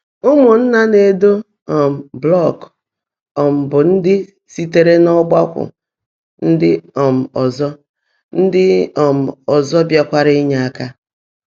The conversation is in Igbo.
Ụ́mụ́nnaá ná-èdó um blọ́kụ́ um bụ́ ndị́ síteèré n’ọ́gbákwọ́ ndị́ um ọ́zọ́ ndị́ um ọ́zọ́ bìáàrá nyèé áká.